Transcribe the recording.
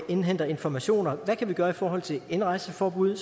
indhenter informationer hvad kan vi gøre i forhold til indrejseforbud